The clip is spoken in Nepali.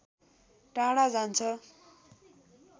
टाढा जान्छ